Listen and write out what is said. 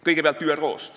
Kõigepealt ÜRO-st.